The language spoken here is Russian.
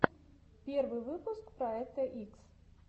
первый выпуск проекта икс